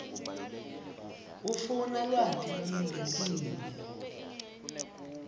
ufuna lwati lolungetiwe